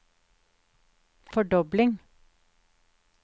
fordobling